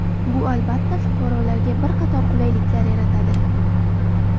Bu albatta, fuqarolarga bir qator qulayliklar yaratadi.